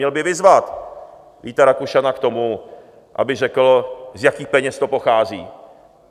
Měl by vyzvat Víta Rakušana k tomu, aby řekl, z jakých peněz to pochází.